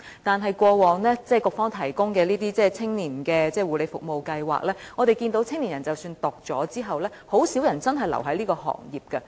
但是，過往局方提供的青年護理服務啟航計劃，我們看到青年人即使在修讀課程後，很少人真正留在這個行業。